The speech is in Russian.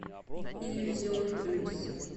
иллюзион плюс